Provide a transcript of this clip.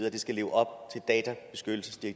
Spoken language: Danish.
at det skal leve op